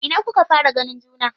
A ina kuka fara ganin juna?